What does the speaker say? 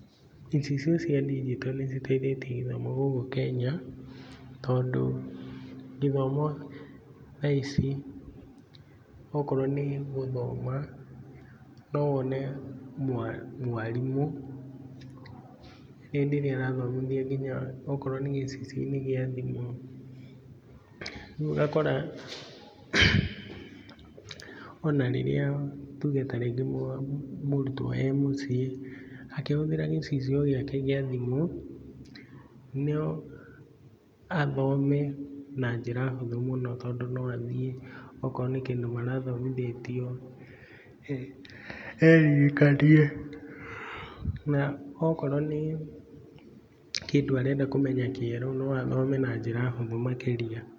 Icicio cia ndinjito nĩ citeithĩtie gĩthomo gũkũ Kenya tondũ gĩthomo thaa ici, okorwo nĩ gũthoma no wone mwarimũ hĩndĩ ĩrĩa rathomithia nginya okorwo nĩ gĩcicio-inĩ gĩa thimũ. Rĩu ũgakora ona rirĩa tuge ta rĩngĩ mũrutwo akĩhũthĩra gĩcicio kĩu gĩa thimũ no athome na njĩra hũthũ mũno tondũ no athiĩ akorwo nĩ kĩndũ marathomithĩtio eririkanie, na okorwo nĩ kĩndu arenda kũmenya kĩerũ no athome na njĩra hũthũ makĩria.